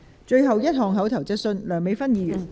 最後一項口頭質詢。